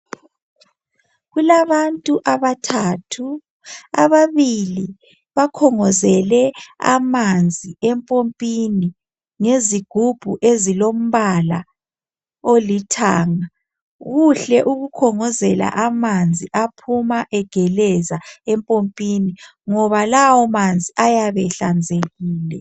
kulabantu abathathu ababili bakhongozele amanzi empompini ngezigubhu ezilombala olithanga kuhle ukukhongozela amanzi aphuma egeleza empompini ngoba lawo manzi ayabe ehlanzekile